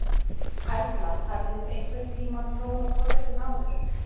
Erla: Hafið þið einhvern tímann prófað forritun áður?